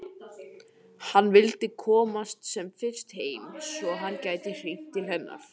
Hann vildi komast sem fyrst heim svo að hann gæti hringt til hennar.